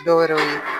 Dɔwɛrɛ ye